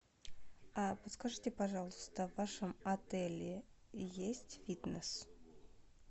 а подскажите пожалуйста в вашем отеле есть фитнес